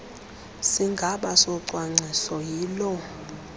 sigaba socwangciso yiloo